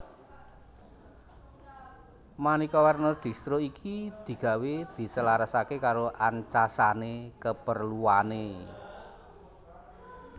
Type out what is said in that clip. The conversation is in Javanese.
Maneka warna distro iki digawé diselarasake karo ancasane keperluane